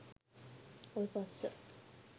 ඔය පස්ස